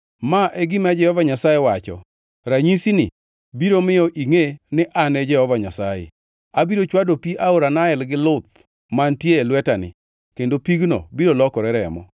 Ma e gima Jehova Nyasaye wacho: Ranyisini biro miyo ingʼe ni an Jehova Nyasaye: Abiro chwado pi aora Nael gi luth mantie e lwetani kendo pigno biro lokore remo.